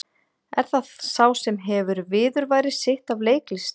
Er það sá sem hefur viðurværi sitt af leiklist?